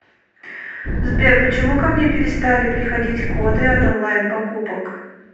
сбер почему ко мне перестали приходить коды от онлайн покупок